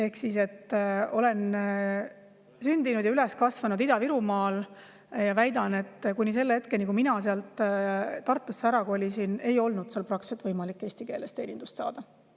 Ma olen sündinud ja üles kasvanud Ida-Virumaal ja väidan, et kuni selle hetkeni, kui ma sealt Tartusse ära kolisin, ei olnud seal praktiliselt võimalik eesti keeles teenindust saada.